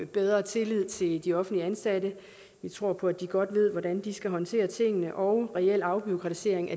bedre tillid til de offentligt ansatte vi tror på at de godt ved hvordan de skal håndtere tingene og reel afbureaukratisering